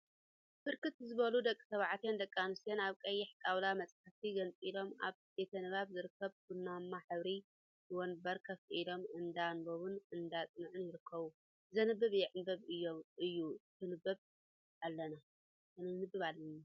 ብርክት ዝበሉ ደቂ ተባዕትዮን ደቂ አንስትዮን አብ ቀይሕ ጣውላ መፃሕፍቲ ገንፂሎም አብ ቤተ ንባብ ዝርከብ ቡናማ ሕብሪ ወንበር ኮፍ ኢሎም እንዳ አንበቡን እንዳ አፅንዑን ይርከቡ፡፡ ዘንበበ ይዕንብብ እዩሞ ክነንብብ አለና፡፡